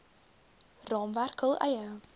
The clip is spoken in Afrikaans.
raamwerk hul eie